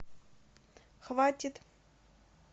хватит